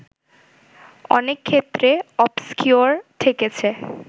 অনেক ক্ষেত্রে ‘অবসকিউর’ ঠেকেছে